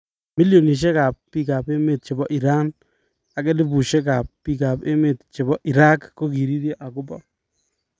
Millionishek kap bik ab emet chebo Iran ak elibishek kap bik ab emet tab Irag kokiriryo akobo